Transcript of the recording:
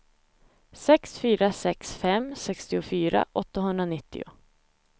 sex fyra sex fem sextiofyra åttahundranittio